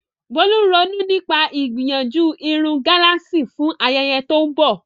Bolu ń ronú nípa ìgbìyànjú irun gálààsì fún ayẹyẹ tó ń bọ̀.